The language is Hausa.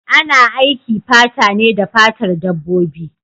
Ana aiki fata ne da fatar dabbobi.